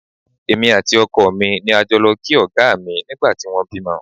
Èmi àti ọkọ mi ni a jọ lọ kí Ọ̀gá mi nígbà tí wọ́n bímọ